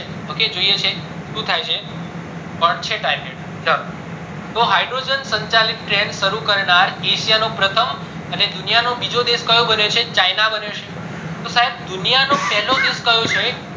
ok જોઈએ છે શું થાય છે ચલો તો hydrogen સંચાલિત train શરુ કરનાર asia નો પ્રથમ અને દુનિયાનો નિજો દેશ કયો બન્યો છે china બન્યો છે તો સાયબ દુનિયા નો પેલો દેશ કયો છે